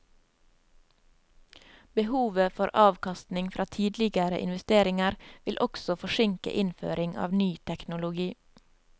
Behovet for avkastning fra tidligere investeringer vil også forsinke innføring av ny teknologi.